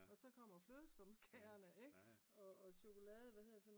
Og så kommer flødeskumskagerne ikke hvad hedder sådan noget?